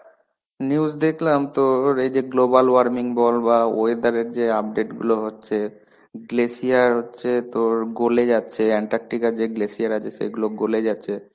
news দেখলাম তোর এই যে global warming বল বা weather এর যে update গুলো হচ্ছে. glecer হচ্ছে তোর গোলে যাচ্ছে Antarctica র যে glacer আছে সেগুলো গোলে যাচ্ছে.